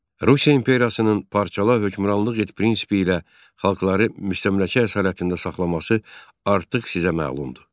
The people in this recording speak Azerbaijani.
Rusiya imperiyasının parçala hökmranlıq et prinsipi ilə xalqları müstəmləkə əsarətində saxlaması artıq sizə məlumdur.